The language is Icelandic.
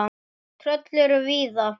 Tröll eru víða.